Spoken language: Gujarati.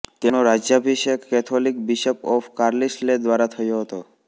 તેમનો રાજ્યાભિષેક કેથોલિક બિશપ ઓફ કાર્લિસ્લે દ્વારા થયો હતો